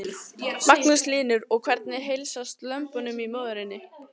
Magnús Hlynur: Og hvernig heilsast lömbunum og móðurinni?